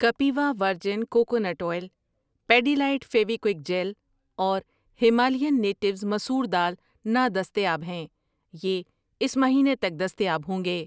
کپیوا virgin coconut oil, Pidilite Fevikwik gel اور Himalayan natives مسور دال نادستیاب ہیں، یہ اس مہینے تک دستیاب ہوں گے۔